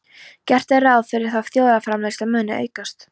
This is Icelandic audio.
Gert er ráð fyrir að þjóðarframleiðsla muni aukast.